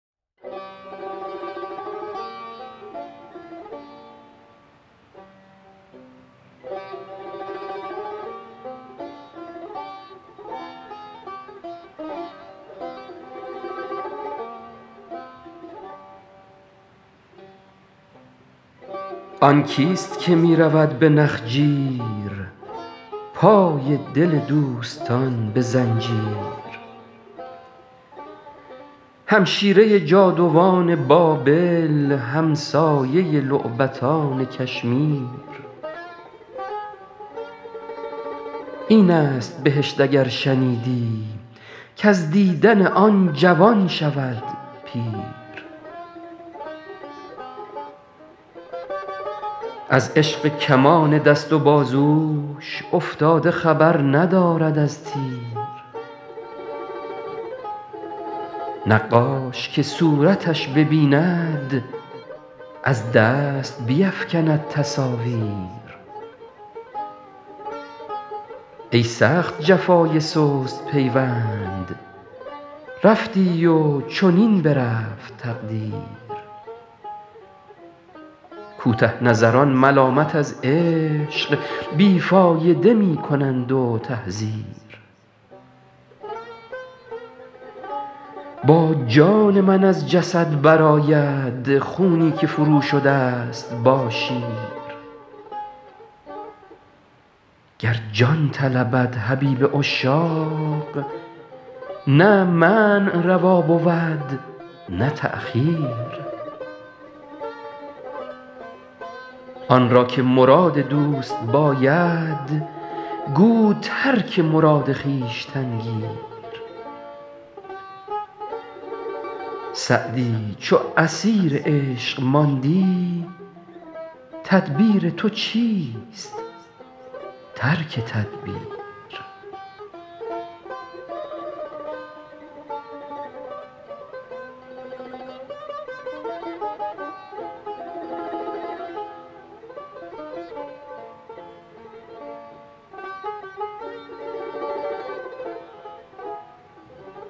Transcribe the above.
آن کیست که می رود به نخجیر پای دل دوستان به زنجیر همشیره جادوان بابل همسایه لعبتان کشمیر این است بهشت اگر شنیدی کز دیدن آن جوان شود پیر از عشق کمان دست و بازوش افتاده خبر ندارد از تیر نقاش که صورتش ببیند از دست بیفکند تصاویر ای سخت جفای سست پیوند رفتی و چنین برفت تقدیر کوته نظران ملامت از عشق بی فایده می کنند و تحذیر با جان من از جسد برآید خونی که فروشده ست با شیر گر جان طلبد حبیب عشاق نه منع روا بود نه تأخیر آن را که مراد دوست باید گو ترک مراد خویشتن گیر سعدی چو اسیر عشق ماندی تدبیر تو چیست ترک تدبیر